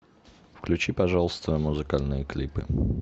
включи пожалуйста музыкальные клипы